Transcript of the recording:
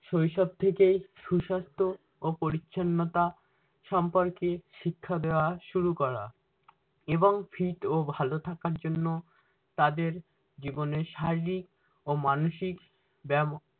শৈশব থেকে সুসাস্থ ও পরিচ্ছন্নতা সম্পর্কে শিক্ষা দেয়া শুরু করা এবং fit ও ভালো থাকার জন্য তাদের জীবনে শারীরিক ও মানসিক ব্যাম